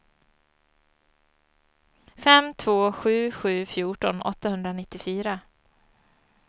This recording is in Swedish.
fem två sju sju fjorton åttahundranittiofyra